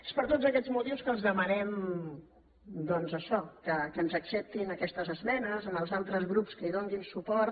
és per tots aquests motius que els demanem doncs això que ens acceptin aquestes esmenes als altres grups que hi donin suport